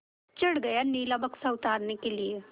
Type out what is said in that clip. चढ़ गया नीला बक्सा उतारने के लिए